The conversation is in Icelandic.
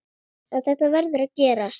En þetta verður að gerast.